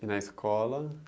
E na escola?